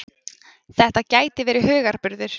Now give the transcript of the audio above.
Þetta gæti verið hugarburður.